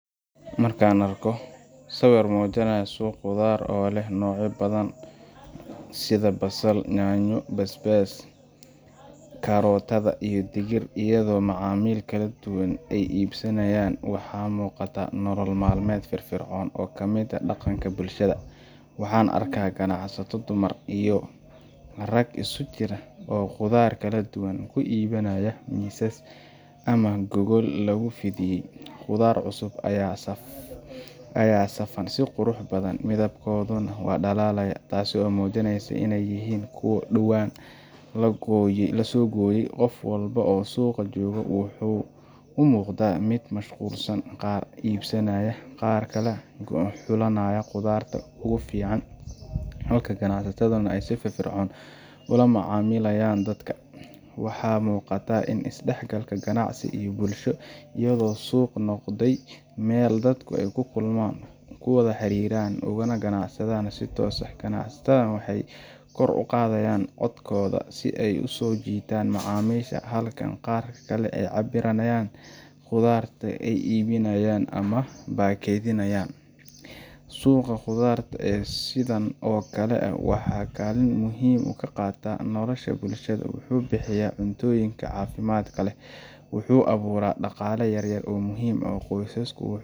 Marka aan arko sawir muujinaya suq khudaar oo leh noocyo badan sida basal, yaanyo, basbaas, kabeebey, karootada, iyo digir, iyadoo macaamiil kala duwan ay iibsanayaan, waxaa muuqata nolol maalmeed firfircoon oo ka mid ah dhaqanka bulshada. Waxaan arkaa ganacsato dumar iyo rag isugu jira oo khudaar kala duwan ku iibinaya miisas ama gogol lagu fidiyay. Khudaar cusub ayaa safan si qurux badan, midabadkodana waa dhalaalaya, taas oo muujinaysa in ay yihiin kuwo dhowaan la soo gooyay. Qof walba oo suuqa jooga wuxuu u muuqdaa mid mashquulsan qaar iibsanaya, qaarna kala xulanaya khudaarta ugu fiican, halka ganacsataduna ay si firfircoon ula macaamilayaan dadka. Waxaa muuqata is-dhexgalka ganacsi iyo bulshada, iyadoo suuqu noqday meel dadku ku kulmaan, ku wada xiriiraan, ugana ganacsadaan si toos ah. Ganacsatada waxay kor u qaadayaan codkooda si ay u soo jiitaan macaamiisha, halka qaar kale ay cabbirayaan khudaarta ay iibinayaan ama baakadinayaan. Suuqa khudaarta ee sidan oo kale ah wuxuu kaalin muhiim ah ka qaataa nolosha bulshada: wuxuu bixiya cuntooyin caafimaad leh, wuxuu abuuraa dhaqaale yaryar oo muhiim u ah qoysaska,